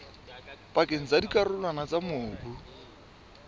pakeng tsa dikarolwana tsa mobu